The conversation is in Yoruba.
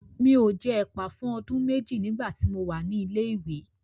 Mi ò jẹ ẹ̀pà fún ọdún méjì nígbà tí mo wà ní ilé ìwé.